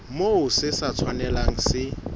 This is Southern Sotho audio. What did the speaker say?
moo se sa tshwanelang se